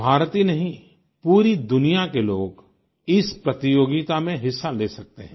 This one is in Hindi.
भारत ही नहीं पूरी दुनिया के लोग इस प्रतियोगिता में हिस्सा ले सकते हैं